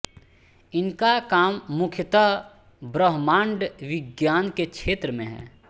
इनका काम मुख्यतः ब्रह्माण्डविज्ञान के क्षेत्र में है